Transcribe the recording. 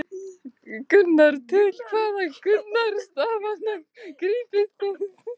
Birta: Til hvaða ráðstafana grípið þið?